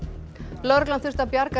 lögreglan þurfti að bjarga